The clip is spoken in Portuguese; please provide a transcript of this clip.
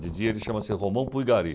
De dia, ele chama-se Romão Pulgari.